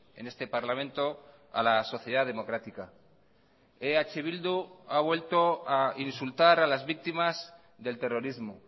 en este parlamento a la sociedad democrática eh bildu ha vuelto a insultar a las víctimas del terrorismo